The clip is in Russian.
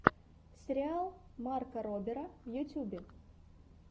сериал марка робера в ютьюбе